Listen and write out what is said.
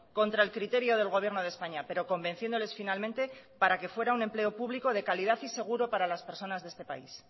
contra el criterio del gobierno de españa pero convenciéndoles finalmente para que fuera un empleo público de calidad y seguro para las personas de este país